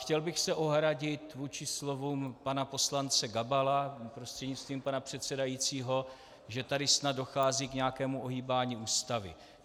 Chtěl bych se ohradit vůči slovům pana poslance Gabala prostřednictvím pana předsedajícího, že tady snad dochází k nějakému ohýbání Ústavy.